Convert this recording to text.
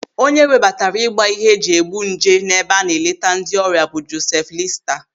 Onye webatara ị gba ihe eji egbu nje n'ebe a na-eleta ndị ọrịa bụ Josef Lista.